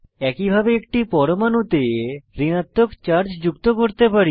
একইভাবে একটি পরমাণুতে ঋণাত্মক চার্জ যুক্ত করতে পারি